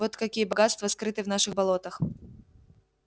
вот какие богатства скрыты в наших болотах